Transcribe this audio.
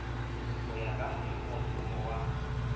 go ya ka mošomothomo wa